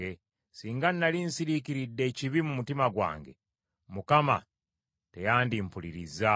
Singa nnali nsirikidde ekibi mu mutima gwange, Mukama teyandimpulirizza;